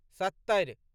सत्तरि